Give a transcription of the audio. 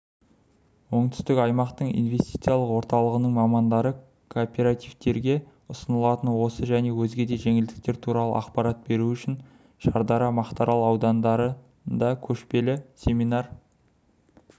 оңтүстік аймақтық инвестициялық орталығының мамандары кооперативтерге ұсынылатын осы және өзге де жеңілдіктер туралы ақпарат беру үшін шардара мақтаарал аудандарында көшпелі семинар